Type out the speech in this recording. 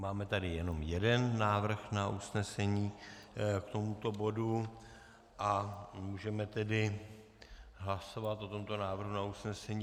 Máme tady jenom jeden návrh na usnesení k tomuto bodu a můžeme tedy hlasovat o tomto návrhu na usnesení.